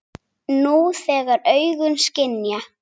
Þú, þegar augun skynja.